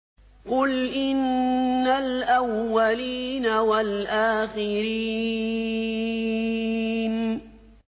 قُلْ إِنَّ الْأَوَّلِينَ وَالْآخِرِينَ